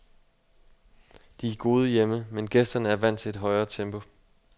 De er gode hjemme, men gæsterne er vant til et højere tempo.